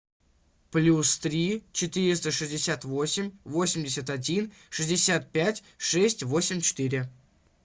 плюс три четыреста шестьдесят восемь восемьдесят один шестьдесят пять шесть восемь четыре